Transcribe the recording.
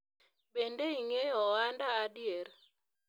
bende ing'eyo ohanda adier?